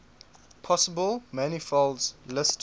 possible manifolds listed